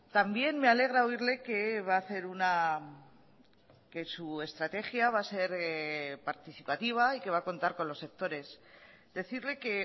también me alegra oírle que va a hacer una que su estrategia va a ser participativa y que va a contar con los sectores decirle que